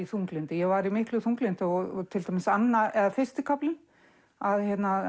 þunglyndi ég var í miklu þunglyndi og til dæmis fyrsti kaflinn að